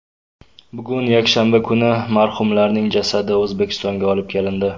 Bugun, yakshanba kuni marhumlarning jasadi O‘zbekistonga olib kelindi.